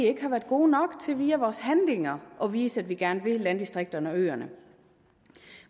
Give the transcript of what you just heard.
ikke har været gode nok til via vores handlinger at vise at vi gerne vil landdistrikterne og øerne